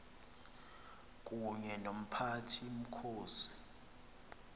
kunye nomphathi mkhosi